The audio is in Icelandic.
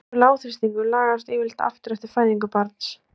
Slíkur lágþrýstingur lagast yfirleitt aftur eftir fæðingu barns.